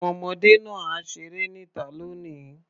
Àwọn ọmọdé náà á ṣeré níta lónìí.